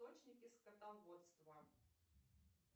источники скотоводство